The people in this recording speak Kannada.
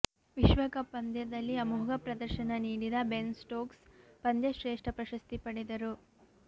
ವಿಶ್ವಕಪ್ ಪಂದ್ಯದಲ್ಲಿ ಅಮೋಘ ಪ್ರದರ್ಶನ ನೀಡಿದ ಬೆನ್ ಸ್ಟೋಕ್ಸ್ ಪಂದ್ಯಶ್ರೇಷ್ಠ ಪ್ರಶಸ್ತಿ ಪಡೆದರು